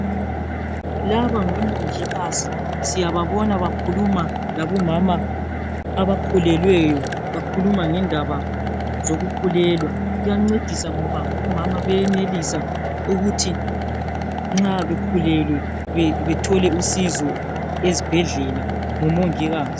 labangabo mongikazi siyababona bakhuluma labo mama abakhulileyo bekhuluma ngendaba zokukhulelwa kuyancedisa ngoba omama bayayenelisa ukuthi nxa bekhulelwe bethole usizo esibhedlela kubo mongikazi